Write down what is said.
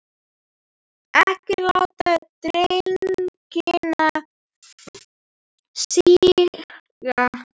Ekki láta deigan síga.